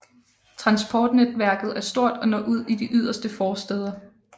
Transportnetværket er stort og når ud i de yderste forstæder